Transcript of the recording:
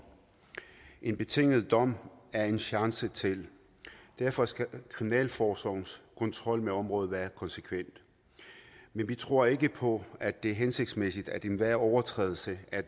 en betinget dom er en chance til derfor skal kriminalforsorgens kontrol med området være konsekvent men vi tror ikke på at det er hensigtsmæssigt at enhver overtrædelse af